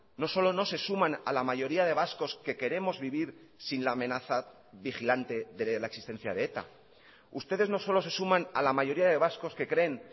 no solo no se suman a la mayoría de vascos que queremos vivir sin la amenaza vigilante de la existencia de eta ustedes no solo se suman a la mayoría de vascos que creen